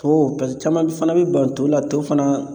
To pase caman b fana be ban to la to fana